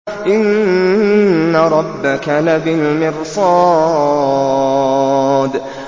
إِنَّ رَبَّكَ لَبِالْمِرْصَادِ